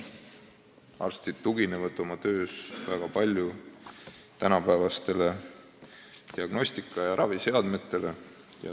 Arstid tuginevad oma töös väga palju tänapäevastele diagnostika- ja raviseadmetele.